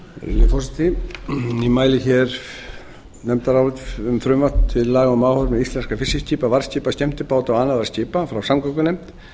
virðulegi forseti ég mæli hér fyrir nefndaráliti um frumvarp til laga um áhafnir íslenskra fiskiskipa varðskipa skemmtibáta og annarra skipa frá samgöngunefnd